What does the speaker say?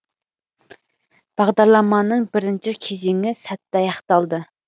бағдарламаның бірінші кезеңі сәтті аяқталды